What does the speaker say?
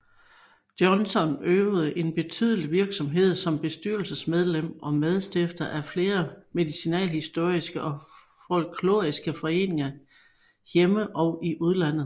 Jonsson øvede en betydelig virksomhed som bestyrelsesmedlem og medstifter af flere medicinalhistoriske og folkloristiske foreninger hjemme og i udlandet